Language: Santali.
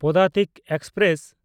ᱯᱚᱫᱟᱛᱤᱠ ᱮᱠᱥᱯᱨᱮᱥ